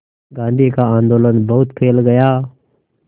गांधी का आंदोलन बहुत फैल गया